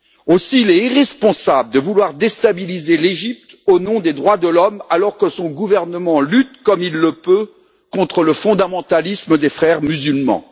Aussi, il est irresponsable de vouloir déstabiliser l'Égypte, au nom des droits de l'homme, alors que son gouvernement lutte comme il le peut contre le fondamentalisme des Frères musulmans.